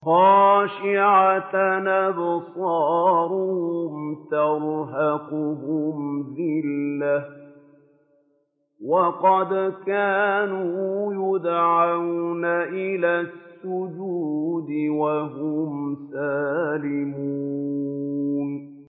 خَاشِعَةً أَبْصَارُهُمْ تَرْهَقُهُمْ ذِلَّةٌ ۖ وَقَدْ كَانُوا يُدْعَوْنَ إِلَى السُّجُودِ وَهُمْ سَالِمُونَ